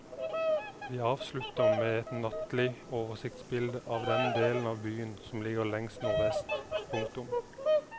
Vi avslutter med et nattlig oversiktsbilde av den delen av byen som ligger lengst nordvest. punktum